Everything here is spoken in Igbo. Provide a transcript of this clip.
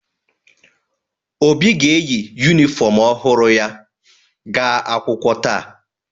Obi ga-eyi yunifọmụ ọhụrụ ya ga-aga akwụkwọ taa.